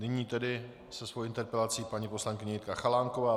Nyní tedy se svojí interpelací paní poslankyně Jitka Chalánková.